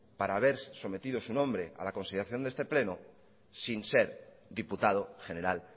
para ver sometido su nombre a la consideración de este pleno sin ser diputado general